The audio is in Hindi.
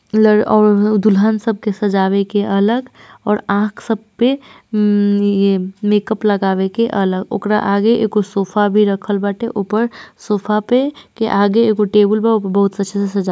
और दुल्हन सब सजावे के अलग और आँख सब पे ये मेकअप लगावे के अलग ओकरा आगे एगो सोफा भी खरल बाटे ऊपर सोफा पे के आगे टेबुल वा बहुत अच्छे से सजा--